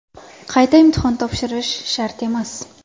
Qayta imtihon topshirish shart emas.